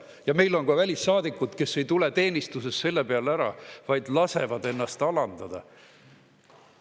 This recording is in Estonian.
Ja meil on ka välissaadikud, kes mitte ei tule seepeale teenistusest ära, vaid lasevad ennast alandada.